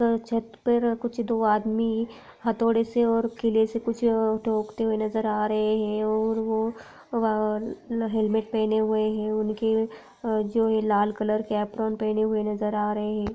छत पर कुछ दो आदमी हथोड़े से और किले से कुछ ठोकते हुए नजर हा रहे है और वो वा हेलमेट पहेने हुए है उनके जो ये लाल कल के एप्रोन पहने नजर हा रहे है।